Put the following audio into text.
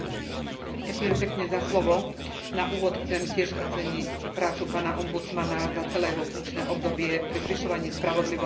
Na úvod chcem tiež oceniť prácu pána ombudsmana za celé jeho funkčné obdobie pri zvyšovaní spravodlivosti a transparentnosti v Európskej únii.